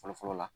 Fɔlɔ fɔlɔ la